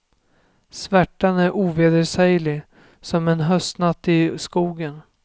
Svärtan är ovedersäglig som en höstnatt i skogen.